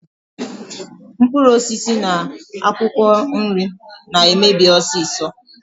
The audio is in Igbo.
Mkpuruosisi na akwokwo nri na-emebi osiso.